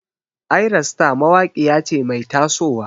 Ayra star mawaƙiya ce mai taso wa.